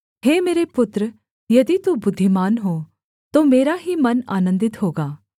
हे मेरे पुत्र यदि तू बुद्धिमान हो तो मेरा ही मन आनन्दित होगा